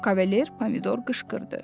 Kavalier Pomidor qışqırdı.